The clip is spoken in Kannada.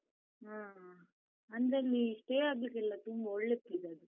ಹಾ, ಅಂದ್ರೆ ಅಲ್ಲಿ stay ಆಗ್ಲಿಕ್ಕೆಲ್ಲ ತುಂಬ ಒಳ್ಳೇ place ಅದು.